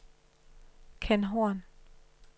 Kenn Horn